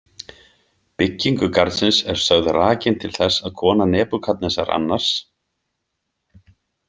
Byggingu garðins er sögð rakin til þess að kona Nebúkadnesar II.